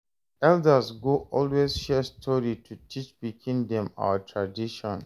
Elders go always share story to teach pikin them our tradition.